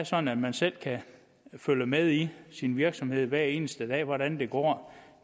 sådan at man selv kan følge med i sin virksomhed hver eneste dag hvordan det går